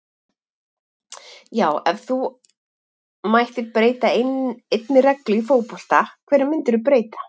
já Ef þú mættir breyta einni reglu í fótbolta, hverju myndir þú breyta?